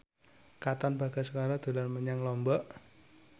Katon Bagaskara dolan menyang Lombok